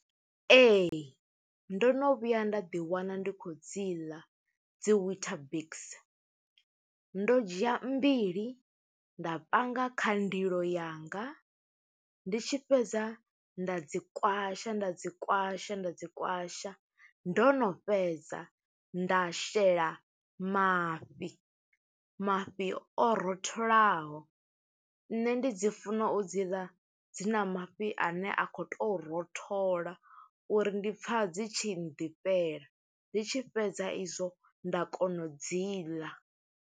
Ee, ndo no vhuya nda ḓi wana ndi khou dzi ḽa dzi wheatabix, ndo dzhia mbili nda panga kha ndilo yanga, ndi tshi fhedza nda dzi kwasha, nda dzi kwasha, nda dzi kwasha. Ndo no fhedza, nda shela mafhi, mafhi o ro tholaho. Nṋe ndi dzi funa u dzi ḽa, dzi na mafhi ane a khou to rothola uri ndi pfa dzi tshi ḓifhela. Ndi tshi fhedza e zwo, nda kona u dzi ḽa.